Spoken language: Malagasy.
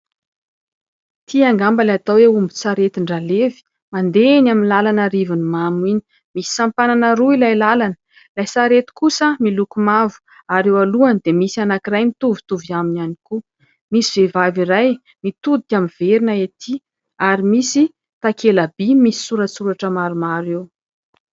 Ity angamba ilay atao eo omby tsaretin-dralevy mandeha any amin'ny lalan'ny "Rivonimamy", misy sampanana roa ilay lalana ilay sarety kosa miloko mavo ary eo alohany dia misy anankiray mitovitovy aminy ihany koa; misy vehivavy iray mitodika miverina etỳ ary misy takela- by misy soratsoratra maromaro eo.